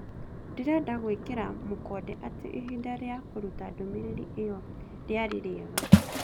Ndĩrenda gũĩkĩra mũkonde atĩ ihinda rĩa kũruta ndũmĩrĩri ĩyo rĩarĩ rĩega